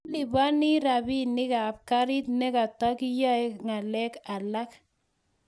ilipani rabinik ab garit ne ketakaiyai ngalek alak